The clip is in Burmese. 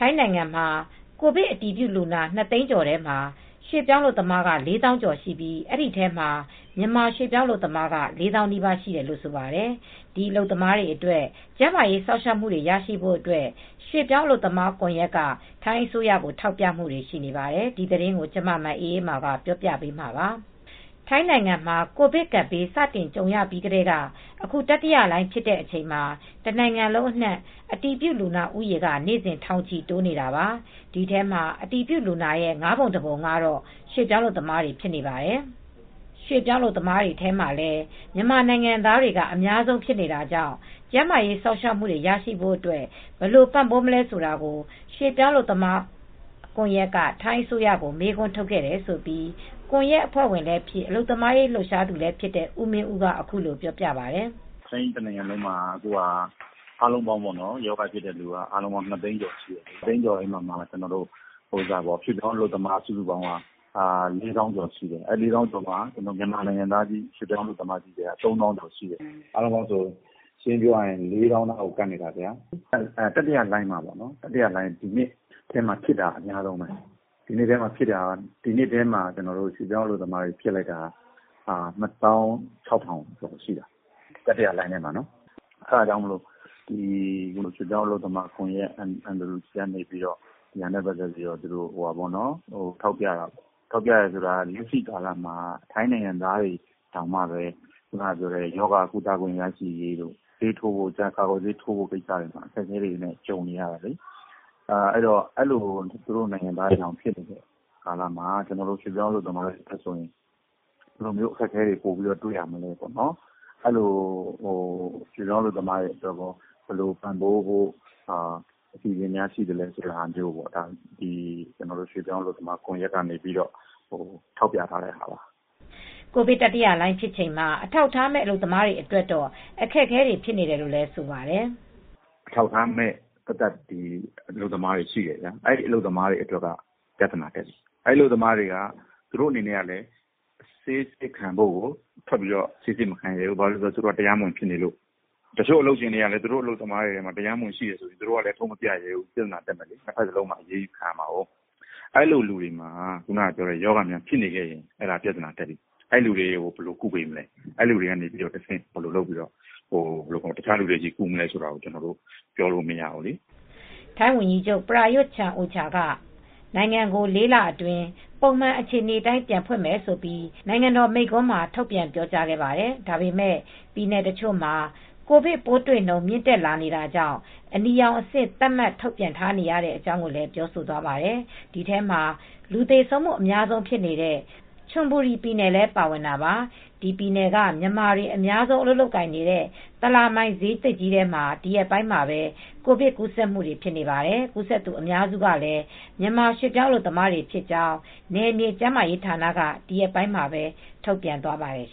ိုင်းနိုင်ငံမှာ ကိုဗစ်အတည်ပြုလူနာ ၂ သိန်းကျော်ထဲမှာ မြန်မာနိုင်ငံသား အများစု အပါအဝင် ရွှေ့ပြောင်းအလုပ်သမား သောင်းနဲ့ချီ ပါဝင်နေပါတယ်။ ဒါပေမယ့်လည်း ခန့်မှန်းခြေ ၄ သောင်းလောက်ရှိတဲ့ အလုပ်သမားတွေ ကျန်းမာရေးစောင့်ရှောက်မှု ရရှိရေးမှာ အခက်အခဲတွေ ရှိနေတာကြောင့် ဖြေရှင်းပေးဖို့ အလုပ်သမားရေး လှုပ်ရှားသူတွေက ထိုင်းအာဏာပိုင်တွေကို တိုက်တွန်းနေကြတာပါ။ ဒီအကြောင်း အပြည့်အစုံကို ဗွီအိုအေ မြန်မာပိုင်း ထိုင်းအခြေစိုက် သတင်းထောက် မအေးအေးမာ တင်ပြပေးထားပါတယ်။ ထိုင်းနိုင်ငံမှာ ကိုဗစ်ကပ်ဘေး စတင်ကြုံခဲ့ရပြီးကတည်းက အခု တတိယလှိုင်း ဖြစ်တဲ့အချိန်မှာ တနိုင်ငံလုံးအနှံ့ အတည်ပြုလူနာဦးရေက နေ့စဉ် ထောင်ချီတိုးနေတာပါ။ ဒီထဲမှာ အတည်ပြုလူနာ ၅ ပုံ ၁ ပုံက ရွှေ့ပြောင်းအလုပ်သမားတွေ ဖြစ်နေပါတယ်။ ရွှေ့ပြောင်းအလုပ်သမားတွေထဲမှာလည်း မြန်မာနိုင်ငံသားက အများဆုံးဖြစ်နေတာကြောင့် ကျန်းမာရေးစောင့်ရှောက်မှုတွေ ရရှိဖို့အတွက် ဘယ်လိုပံ့ပိုးမလဲ ဆိုတာကို ရွှေ့ပြောင်းအလုပ်သမားကွန်ရက်က ထိုင်းအစိုးရကို မေးခွန်းထုတ်ခဲ့တယ်လို့ ကွန်ရက်အဖွဲ့ဝင်လည်းဖြစ် အလုပ်သမားရေး လှုပ်ရှားသူလည်းဖြစ်တဲ့ ဦးမင်းဦးက အခုလိုပြောပြပါတယ်။ “ထိုင်းနိုင်ငံတနိုင်ငံလုံးမှာ အခုက အားလုံးပေါင်း ရောဂါဖြစ်တဲ့သူ ၂ သိန်းကျော်ရှိတယ်။ ၂ သိန်းကျော်ထဲမှာ ရွှေ့ပြောင်းအလုပ်သမား စုစုပေါင်းက ၄ သောင်းကျော်ရှိတယ်။ ၄ သောင်းကျော်ထဲမှာ မြန်မာနိုင်ငံသား ရွှေ့ပြောင်းအလုပ်သမားက ၃ သောင်းကျော်ရှိတယ်။ အားလုံးပေါင်း ရှင်းရှင်းပြောရရင် ၄ သောင်းနားကို ကပ်နေတယ်။ တတိယလှိုင်းထဲမှာ ဒီနှစ်ထဲမှာ ဖြစ်တာအများဆုံးပဲ။ ဒီနှစ်ထဲမှာဖြစ်တာ ရွှေ့ပြောင်းအလုပ်သမား ၂၆,၀၀၀ ကျော်ရှိတယ်၊ တတိယလှိုင်းထဲမှာနော်။ အဲဒါကြောင့် လက်ရှိမှာ ရွှေ့ပြောင်းအလုပ်သမားကွန်ရက် MWG က အဲဒါနဲ့ပတ်သက်လို့ ထောက်ပြတယ်။ ထောက်ပြတာက လက်ရှိကာလမှာက ထိုင်းနိုင်ငံသားတွေတောင်မှ ရောဂါကုသခွင့် ရရှိရေးတို့ ဆေးထိုးဖို့ ကာကွယ်ဆေးထိုးဖို့ ကိစ္စတွေမှာ အခက်အခဲတွေနဲ့ ကြုံနေရတယ်။ အဲဒီလို သူတို့နိုင်ငံသားတွေတောင် ဖြစ်နေတဲ့ကာလမှာ ကျနော်တို့ ရွှေ့ပြောင်းအလုပ်သမားတွေမှာ ဘယ်လိုမျိုး အခက်အခဲတွေ့ရမလဲ။ ရွှေ့ပြောင်းအလုပ်သမားတွေအတွက်ရော ဘယ်လိုပံ့ပိုးဖို့ အစီအစဉ်များ ရှိမလဲဆိုတာကို ကျနော်တို့ ရွှေ့ပြောင်းအလုပ်သမားကွန်ရက်က ထောက်ပြထားတဲ့ဟာပါ။” ကိုဗစ်တတိယလှိုင်းဖြစ်ချိန်မှာ အထောက်အထားမဲ့ အလုပ်သမားတွေ အတွက်တော့ အခက်အခဲတွေ ဖြစ်နေတယ်လို့ ဆိုပါတယ်။ “အထောက်အထားမဲ့ အလုပ်သမားတွေရှိတယ်။ အဲဒီလို အလုပ်သမားတွေ အတွက်က ပြဿနာတွေ ဖြစ်နေတယ်။ အဲဒီအလုပ်သမားတွေကလည်း သူတို့အနေနဲ့က ဆေးစစ်ခံဖို့ ထွက်ဖို့ ဆေးစစ်မခံရဲဘူး။ သူတို့က တရားမဝင်ဖြစ်နေလို့။ တချို့ အလုပ်ရှင်တွေကလည်း သူတို့အလုပ်သမားတွေက တရားမဝင် ဖြစ်နေတော့ ထုတ်မပြရဲဘူး။ ပြဿနာတက်မှာ နှစ်ဖက်လုံးက အရေးယူခံရမှာကိုး။ အဲဒီလိုလူတွေမှာ ရောဂါဖြစ်ရင် ပြဿနာတက်ပြီ။ အဲဒီလိုလူတွေကို ဘယ်လိုကုပေးမလဲ၊ အဲဒီလိုလူတွေကနေ တခြားလူတွေကို ကူးစက်မယ်ဆိုရင်ရော ဘယ်လိုလုပ်မလဲ၊ ပြောလို့မရဘူး။” ထိုင်းဝန်ကြီးချုပ် Prayuth Chan-ocha က နိုင်ငံကို လေးလအတွင်း ပုံမှန်အခြေအနေ ပြန်ဖွင့်မယ်လို့ နိုင်ငံတော်မိန့်ခွန်းမှာ ထုတ်ပြန်ပြောကြားခဲ့ပါတယ်။ ဒါပေမယ့် ပြည်နယ်တချို့မှာ ကိုဗစ်ပိုးတွေ့နှုန်း မြင့်တက်လာနေတာကြောင့် အနီရောင်အဆင့် သတ်မှတ်ထုတ်ပြန်နေရတဲ့အကြောင်း ပြောဆိုသွားပါတယ်။ ဒီထဲမှာ လူသေဆုံးမှု အများဆုံးဖြစ်တဲ့ ချွန်ဘူရီပြည်နယ်လည်း ပါဝင်တာပါ။ ဒီပြည်နယ်က မြန်မာတွေ အများဆုံး အလုပ်လုပ်ကိုင်နေတဲ့ သလာမိုင်ဈေးသစ်ကြီးမှာ ဒီရက်ပိုင်းမှာပဲ ကိုဗစ်ကူးစက်မှုတွေ ဖြစ်နေပါတယ်။ ကူးစက်သူ အများစုကလည်း မြန်မာရွှေ့ပြောင်းအလုပ်သမားတွေ ဖြစ်ကြောင်း နယ်မြေကျန်းမာရေးဌာနက ဒီရက်ပိုင်းမှာပဲ ထုတ်ပြန်သွားခဲ့ပါတယ်